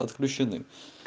отключены